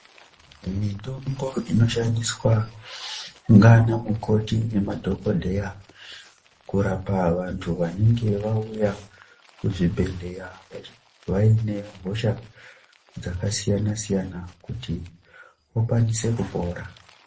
Mitombo inoshandiswa ngaana mukoti nemadhokodheya kurapa vantu vanenge vauya kuzvibhedhleya vaine hosha dzakasiyana siyana kuti vakasire kupora